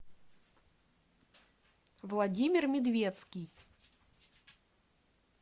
владимир медвецкий